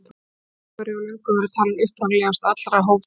Þessi hópur hefur löngum verið talinn upprunalegastur allra hófdýra.